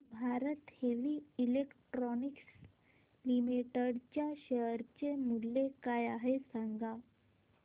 Bharat heavy electricals limited च्या share चे मूल्य काय आहे सांगा